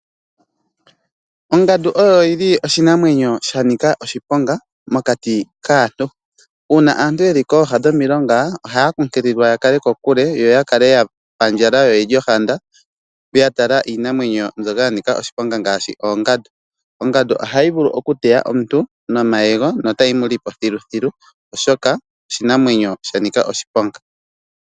Ongandu oyo yili oshinamwenyo shanika oshiponga mokati kaantu. Uuna aantu yeli kooha dhomilonga ohaya kunkililwa yakale kokule yoyakale yapandjala yo oyeli ohanda yatala iinamwenyo mbyoka yanika oshiponga ngaashi oongandu. Ongandu ohayi vulu okuteya omuntu nomayego na otayi muli po thilu thilu oshoka oshinamwenyo shanika oshiponga.